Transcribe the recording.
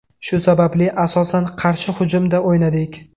Shu sababli, asosan qarshi hujumda o‘ynadik.